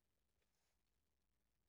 DR1